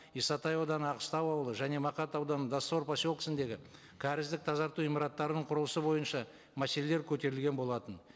исатай ауданы аққыстау ауылы және мақат ауданы доссор поселкесіндегі кәріздік тазарту ғимараттарының құрылысы бойынша мәселелер көтерілген болатын